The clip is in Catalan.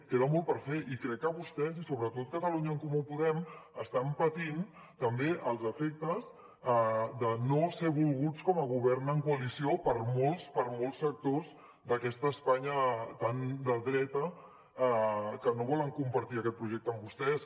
queda molt per fer i crec que vostès i sobretot catalunya en comú podem estan patint també els efectes de no ser volguts com a govern en coalició per molts sectors d’aquesta espanya tan de dretes que no vol compartir aquest projecte amb vostès